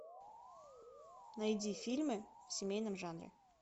найди фильмы в семейном жанре